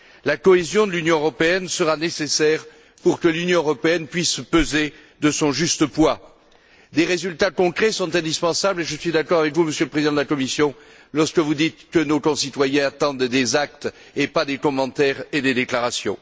La cohésion de l'Union européenne sera nécessaire pour qu'elle puisse peser de son juste poids. Des résultats concrets sont indispensables et je suis d'accord avec vous, Monsieur le Président de la Commission, lorsque vous dites que nos concitoyens attendent des actes et pas des commentaires ni des déclarations.